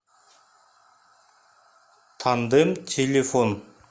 тандем телефон